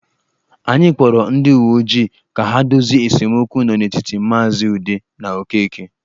Anyị kpọrọ ndị uwe ojii ka ha dozie esemokwu nọ n'etiti maazị Ude na Okeke.